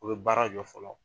U bɛ baara jɔ fɔlɔ